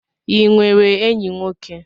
Ị nwere enyi nwoke?